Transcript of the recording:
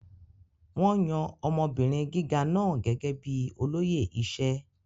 Wón yan ọmọbìnrin gíga náà gẹ́gẹ́ bíi olóyè iṣẹ́.